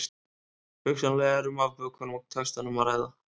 Hugsanlega er um afbökun í textanum að ræða.